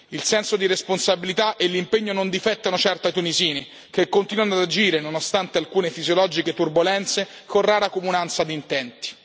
Il senso di responsabilità e l'impegno non difettano certo ai tunisini, che continuano ad agire, nonostante alcune fisiologiche turbolenze, con rara comunanza di intenti.